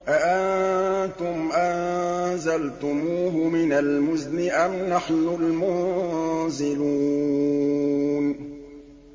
أَأَنتُمْ أَنزَلْتُمُوهُ مِنَ الْمُزْنِ أَمْ نَحْنُ الْمُنزِلُونَ